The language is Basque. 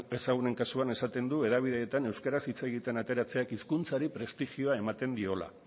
ezagunen kasuan esaten du hedabideetan euskaraz hitz egiten ateratzeak hizkuntzari prestigioa ematen diola